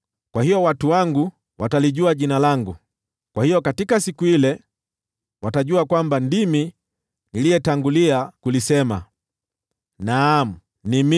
Kwa hiyo watu wangu watalijua Jina langu; kwa hiyo katika siku ile watajua kwamba ndimi niliyetangulia kulisema. Naam, ni mimi.”